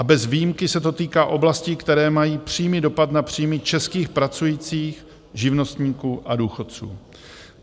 A bez výjimky se to týká oblastí, které mají přímý dopad na příjmy českých pracujících, živnostníků a důchodců.